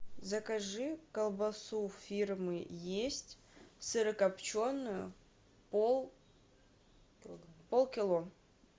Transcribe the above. закажи колбасу фирмы есть сырокопченую полкило